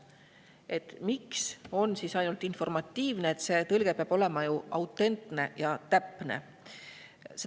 miks on see ainult informatiivne, see peab ju olema autentne ja täpne.